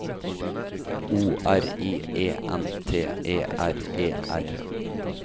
O R I E N T E R E R